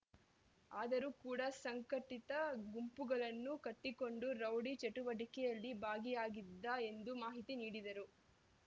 ಆದರೂ ಕೂಡ ಸಂಘಟಿತ ಗುಂಪುಗಳನ್ನು ಕಟ್ಟಿಕೊಂಡು ರೌಡಿ ಚಟುವಟಿಕೆಯಲ್ಲಿ ಭಾಗಿಯಾಗಿದ್ದ ಎಂದು ಮಾಹಿತಿ ನೀಡಿದರು